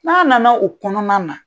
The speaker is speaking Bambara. N'a nana o kɔnɔna na